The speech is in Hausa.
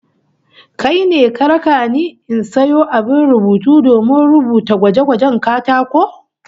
Kai ne ka raka ni in sayo abin rubutu domin rubuta gwaje-gwajen katako?